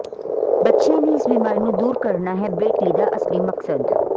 ਬੱਚਿਆਂ ਦੀ ਇਸ ਬਿਮਾਰੀ ਨੂੰ ਦੂਰ ਕਰਣਾ ਹੈ ਬਰੇਟ ਲੀ ਦਾ ਅਸਲੀ ਮਕਸਦ